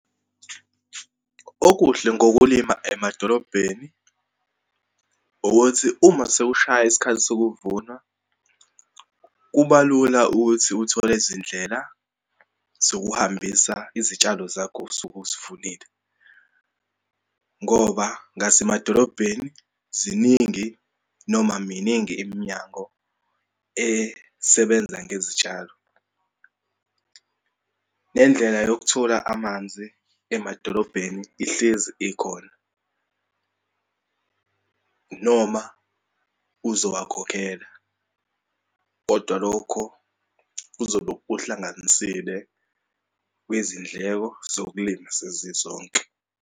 Okuhle ngokulima emadolobheni, ukuthi uma sekushaya isikhathi sekuvuna kuba lula ukuthi uthole izindlela zokuhambisa izitshalo zakho osuke uzivunile. Ngoba ngasemadolobheni ziningi, noma miningi iminyango esebenza ngezitshalo. Nendlela yokuthola amanzi emadolobheni ihlezi ikhona, noma uzowakhokhela, kodwa lokho kuzobe kuhlanganisile kwizindleko zokulima sezizonke.